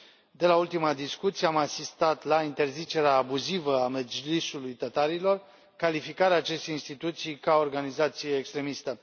De la ultima discuție am asistat la interzicerea abuzivă a Mejlis ului tătarilor, calificarea acestei instituții ca organizație extremistă.